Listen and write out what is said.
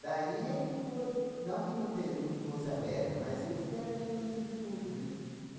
Daí é que foi, não que não que tem não fosse aberta, mas eles que eram ícones de tudo, né?